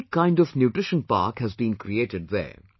A unique kind of nutrition park has been created there